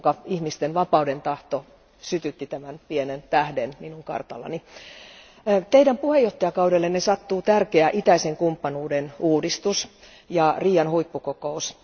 Ihmisten vapaudentahto sytytti tämän pienen tähden minun kartallani. Teidän puheenjohtajakaudellenne sattuu tärkeä itäisen kumppanuuden uudistus ja Rion huippukokous.